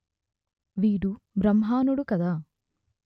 వీడు బ్రాహ్మణుడు కాదు